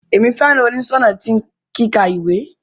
Emi fẹràn oniṣọnà ti kíkà ìwé.